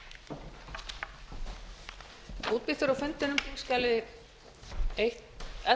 að þetta mikilvæga mál nái fram að ganga